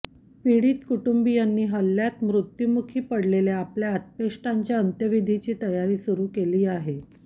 पीडित कुटुंबीयांनी हल्ल्यात मृत्यूमुखी पडलेल्या आपल्या आप्तेष्टांच्या अंत्यविधीची तयारी सुरू केली आहे